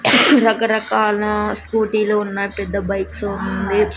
రకరకాల స్కూటీ లు ఉన్నాయ్ పెద్ద బైక్సు ఉన్నాయి.